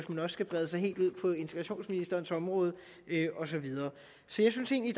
skal brede os helt ind på integrationsministerens område og så videre så jeg synes egentlig